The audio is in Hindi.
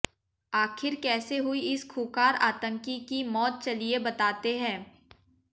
आखिर कैसे हुई इस खूंखार आतंकी की मौत चलिए बतातें हैं